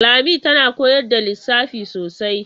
Lami tana koyar da lissafi sosai.